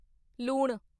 ਲੂਣ